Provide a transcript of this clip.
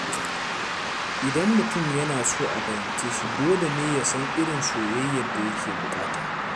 Idan mutum yana so a fahimce shi, dole ne ya san irin soyayyar da yake buƙata.